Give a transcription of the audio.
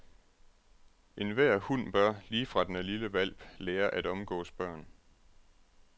Enhver hund bør, lige fra den er lille hvalp, lære at omgås børn.